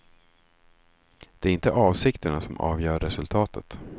Det är inte avsikterna som avgör resultatet.